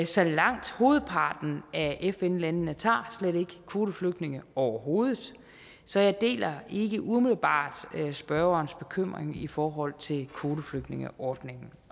så langt hovedparten af fn landene tager slet ikke kvoteflygtninge overhovedet så jeg deler ikke umiddelbart spørgerens bekymring i forhold til kvoteflygtningeordningen